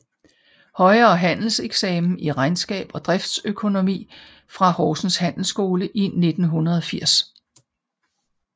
Højere Handelseksamen i regnskab og driftsøkonomi fra Horsens Handelsskole i 1980